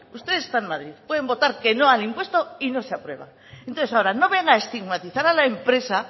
ustedes están en madrid pueden votar que no al impuesto y no se aprueba entonces ahora no venga a estigmatizar a la empresa